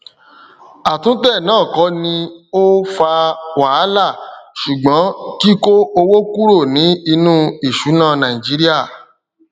àwọn ìdíyelé àmójútó tí ó ó ga ju ara lọ lórí àwọn àkántì ìgbowósí àwọn òwò kékèké n mú ìfajúro dání